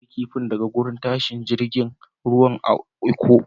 Na siya kifin daga wurin tashar jirigin ruwan a'lkko.